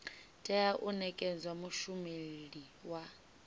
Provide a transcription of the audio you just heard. tea u nekedzwa mushumeli wa